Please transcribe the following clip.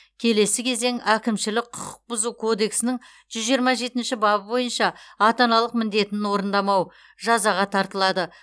келесі кезең әкімшілік құқық бұзу кодексінің жүз жиырма жетінші бабы бойынша ата аналық міндетін орындамау жазаға тартылады